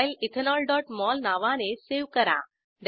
file ethanolमोल नावाने save करा